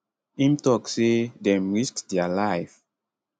im tok say dem risk dia life